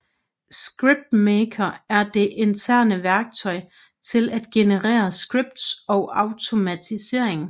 ScriptMaker er det interne værktøj til at generere scripts og automatisering